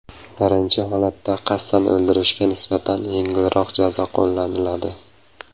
Birinchi holatda qasddan o‘ldirishga nisbatan yengilroq jazo qo‘llaniladi.